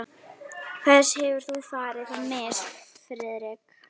Hvers hefur þú farið á mis, Friðrik?